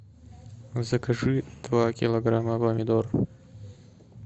закажи два килограмма помидор